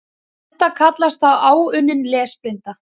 Þetta kallast þá áunnin lesblinda.